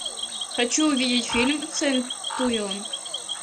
хочу увидеть фильм центурион